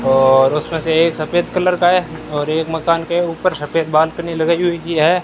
और उसमें से एक सफेद कलर का है और एक मकान के ऊपर सफेद बालकनी लगाई हुई है।